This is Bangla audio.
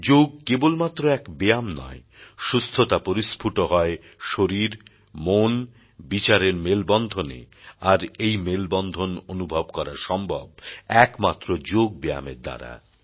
যোগ কেবলমাত্র এক ব্যায়াম নয় সুস্থতা পরিস্ফুট হয় শরীর মন বিচারের মেলবন্ধনে আর এই মেলবন্ধন অনুভব করা সম্ভব একমাত্র যোগব্যায়ামের দ্বারা